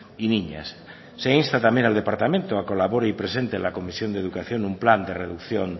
y niñas se insta también al departamento a que colabore y presente la comisión de educación un plan de reducción